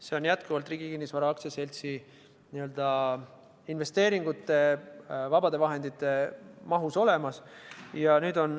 See on jätkuvalt Riigi Kinnisvara AS-i n-ö investeeringute, vabade vahendite hulgas olemas.